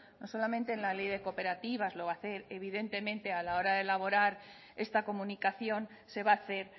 no solamente en la ley de cooperativas lo va a hacer evidentemente a la hora de elaborar esta comunicación se va a hacer